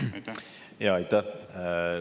Aitäh!